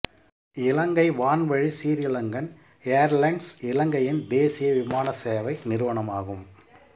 இலங்கை வான்வழி சிறீலங்கன் எயர்லைன்ஸ் இலங்கையின் தேசிய விமானசேவை நிறுவனமாகும்